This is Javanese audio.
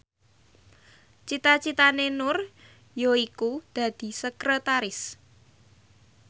cita citane Nur yaiku dadi sekretaris